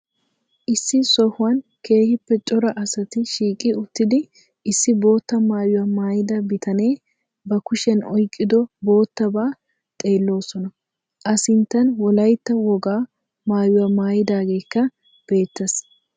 Issi sohuwan keehippe cora asati shiiqi uttidi issi boottaa maayuwa maayada bitanee ba kushiyan oyqqiddo boottabaa xeelloosona. A sinttan wolaytta wogaa maayuwa maydageekka beettees.